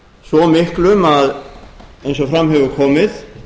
svo miklum eins og fram hefur komið